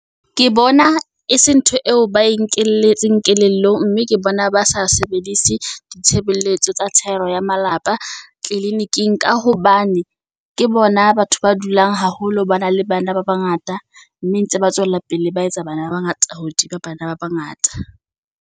Ke bona e se ntho eo ba e nkeletseng kelello mme ke bona ba sa sebedise di tshebelletso tsa thero ya malapa tleleniking. Ka hobane ke bona batho ba dulang haholo ba na le bana ba bangata, mme ntse ba tswela pele ba etsa bana ba bangata hodima bana ba bangata.